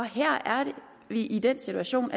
her er vi i den situation